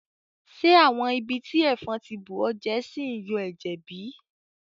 Ṣe àwọn ibiti ẹfọn ti bùọjẹ ṣìn yọ ẹ́jẹ́ bi?